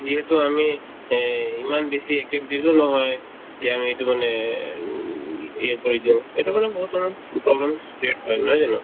যিহেতু আমি এই ইমান বেছি activities ও নহয় যে আমি এইটো মানে এ উম কৰি দিও এইটো কিন্তু বহুতৰে permanent create হয় নহয় জানো